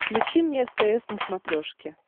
включи мне стс на смотрешке